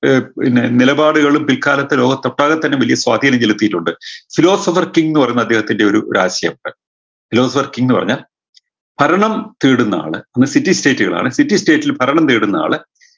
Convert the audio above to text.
ഏർ പിന്നെ നിലപാടുകളും പിൽക്കാലത്ത് ലോകത്തൊട്ടാകെ തന്നെ വലിയ സ്വാധീനം ചെലത്തിയിട്ടുണ്ട് philosopher king എന്ന് പറയുന്ന അദ്ദേഹത്തിൻറെ ഒരു ഒരാശയം philosopher king ന്ന് പറഞ്ഞാ ഭരണം തേടുന്നാള് അന്ന് city state കളാണ് city state ൽ ഭരണം തേടുന്നയാള്